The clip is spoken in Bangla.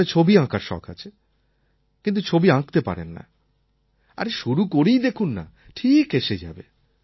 আপনার ছবি আঁকার শখ আছে কিন্তু ছবি আঁকতে পারেন না আরে শুরু করেই দেখুন না ঠিক এসে যাবে